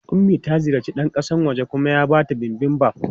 Ummi ta ziyarci ɗan kasan wajen kuma ya ba ta Bibimbap.